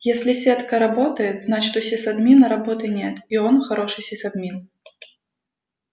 если сетка работает значит у сисадмина работы нет и он хороший сисадмин